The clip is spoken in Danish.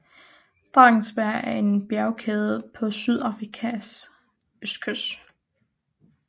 Drakensberg er en bjergkæde på Sydafrikas østkyst